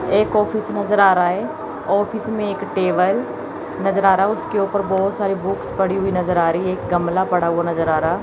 एक ऑफिस नजर आ रहा है ऑफिस में एक टेबल नजर आ रहा है उसके ऊपर बहुत सारे बुक्स पड़ी हुई नजर आ रही है एक गमला पड़ा हुआ नजर आ रहा--